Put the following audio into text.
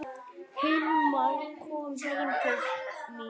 Hilmar kom heim til mín.